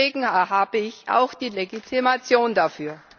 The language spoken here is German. Und deswegen habe ich auch die Legitimation dafür!